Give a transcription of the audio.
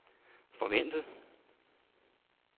forventet